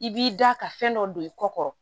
I b'i da ka fɛn dɔ don i kɔ kɔrɔ